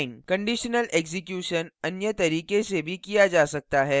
conditional execution अन्य तरीके से भी किया जा सकता है